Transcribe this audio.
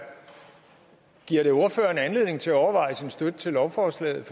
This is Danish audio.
giver det ordføreren anledning til at overveje sin støtte til lovforslaget